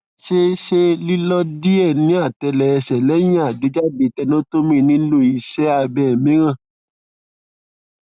ṣe ṣe lilọ diẹ niatele ẹsẹ lẹhin agbejade tenotomy nilo iṣẹ abẹ miiran